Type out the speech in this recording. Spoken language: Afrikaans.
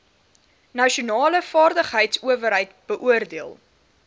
nasionale vaardigheidsowerheid beoordeel